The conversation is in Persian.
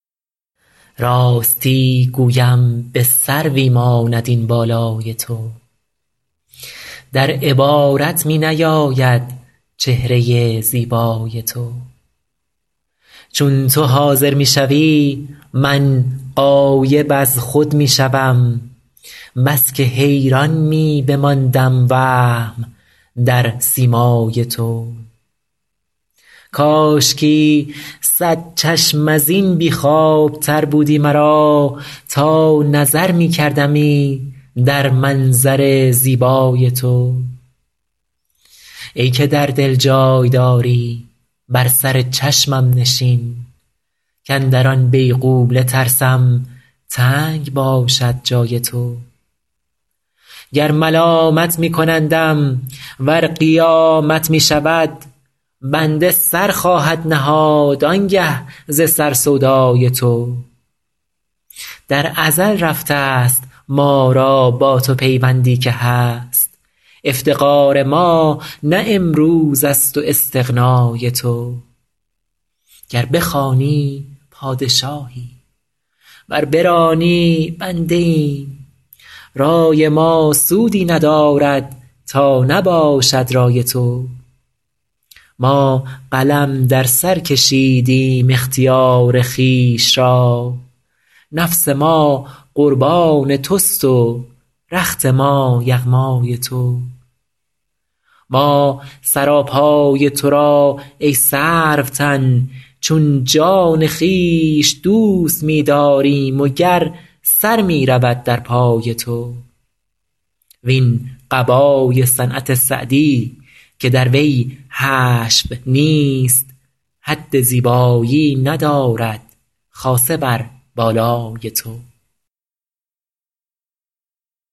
راستی گویم به سروی ماند این بالای تو در عبارت می نیاید چهره زیبای تو چون تو حاضر می شوی من غایب از خود می شوم بس که حیران می بماندم وهم در سیمای تو کاشکی صد چشم از این بی خوابتر بودی مرا تا نظر می کردمی در منظر زیبای تو ای که در دل جای داری بر سر چشمم نشین کاندر آن بیغوله ترسم تنگ باشد جای تو گر ملامت می کنندم ور قیامت می شود بنده سر خواهد نهاد آن گه ز سر سودای تو در ازل رفته ست ما را با تو پیوندی که هست افتقار ما نه امروز است و استغنای تو گر بخوانی پادشاهی ور برانی بنده ایم رای ما سودی ندارد تا نباشد رای تو ما قلم در سر کشیدیم اختیار خویش را نفس ما قربان توست و رخت ما یغمای تو ما سراپای تو را ای سروتن چون جان خویش دوست می داریم و گر سر می رود در پای تو وین قبای صنعت سعدی که در وی حشو نیست حد زیبایی ندارد خاصه بر بالای تو